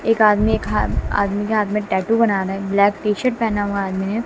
एक आदमी एक हा आदमी के टैटू बनाना है ब्लैक टी शर्ट पहना हुआ है आदमी ने--